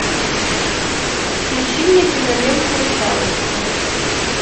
включи мне киноленту русалочка